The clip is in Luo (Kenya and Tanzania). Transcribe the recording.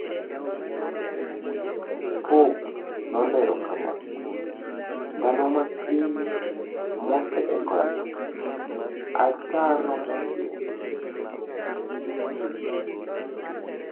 Pop nolero kama: "Ndalo matin mosekalo, ataro maduong'